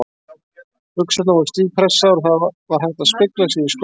Buxurnar voru stífpressaðar og það var hægt að spegla sig í skónum.